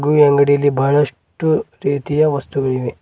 ಈ ಅಂಗಡಿಯಲ್ಲಿ ಬಹಳಷ್ಟು ರೀತಿಯ ವಸ್ತುಗಳಿವೆ.